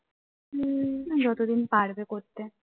তে